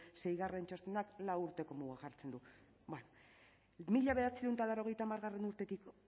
seigarren txostenak lau urteko mugak jartzen du bueno mila bederatziehun eta laurogeita hamargarrena urtetik